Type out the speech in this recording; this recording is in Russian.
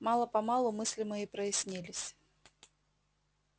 мало-помалу мысли мои прояснились